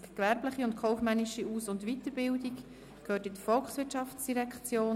«Gewerbliche und kaufmännische Aus- und Weiterbildung gehört in die Volkswirtschaftsdirektion».